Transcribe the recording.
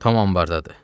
Tom ambardadır.